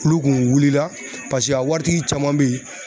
Kulu kun wuli la paseke a waritigi caman be yen